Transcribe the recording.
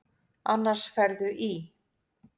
Annars ferðu í.